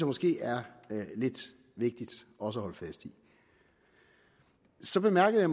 måske er lidt vigtigt også at holde fast i så bemærkede